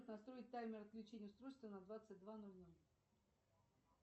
настроить таймер отключения устройства на двадцать два ноль ноль